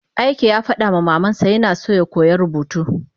Ike yafadama mamansa yina so yakoya rubutu